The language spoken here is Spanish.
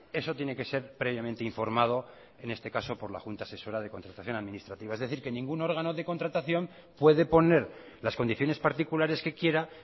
eso tiene que ser previamente informado en este caso por la junta asesora de contratación administrativa es decir que ningún órgano de contratación puede poner las condiciones particulares que quiera